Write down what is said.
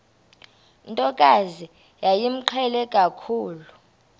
ntokazi yayimqhele kakhulu